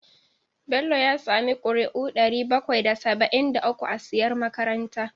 Bello ya sami ƙuri'u ɗari bakwai da saba'in da uku a siyar makaranta.